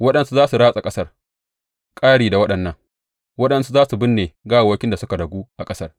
Waɗansu za su ratsa ƙasar, ƙari da waɗannan, waɗansu za su binne gawawwakin da suka ragu a ƙasar.